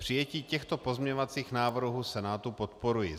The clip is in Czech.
Přijetí těchto pozměňovacích návrhů Senátu podporuji.